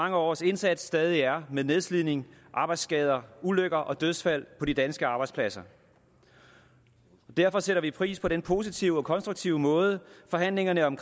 mange års indsats stadig er med nedslidning arbejdsskader ulykker og dødsfald på de danske arbejdspladser derfor sætter vi pris på den positive og konstruktive måde forhandlingerne om